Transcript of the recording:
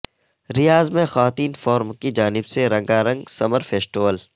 ریاض میں خواتین فورم کی جانب سے رنگا رنگ سمر فیسٹول